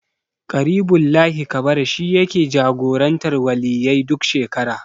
Ƙaribullahi Kabara shi yake jagorantar Waliyyai duk shekara.